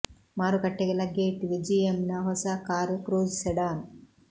ಮಾರುಕಟ್ಟೆಗೆ ಲಗ್ಗೆ ಇಟ್ಟಿದೆ ಜಿಎಮ್ ನ ಹೊಸ ಕಾರು ಕ್ರೂಜ್ ಸೆಡಾನ್